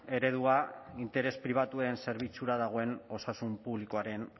eredua interes pribatuen zerbitzura dagoen osasun publikoaren